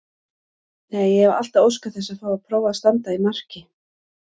Nei, ég hef alltaf óskað þess að fá að prófa að standa í marki.